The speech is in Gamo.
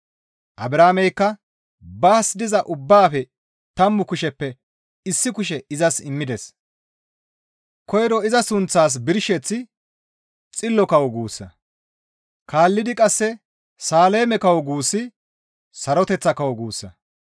Abrahaameykka baas diza ubbaafe tammu kusheppe issi kushe izas immides. Koyro iza sunththaas birsheththi, «Xillo kawo» guussa. Kaallidi qasse, «Saaleme kawo» guussi, «Saroteththa kawo» guussa.